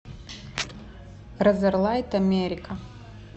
разорлайт америка